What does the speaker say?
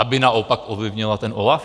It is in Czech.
Aby naopak ovlivnila ten OLAF?